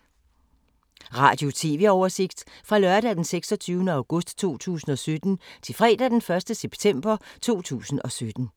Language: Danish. Radio/TV oversigt fra lørdag d. 26. august 2017 til fredag d. 1. september 2017